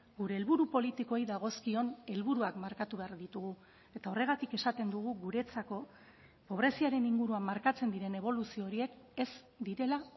gure helburu politikoei dagozkion helburuak markatu behar ditugu eta horregatik esaten dugu guretzako pobreziaren inguruan markatzen diren eboluzio horiek ez direla